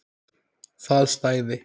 Það stæði.